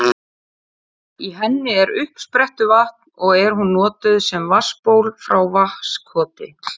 Í henni er uppsprettuvatn og er hún notuð sem vatnsból frá Vatnskoti.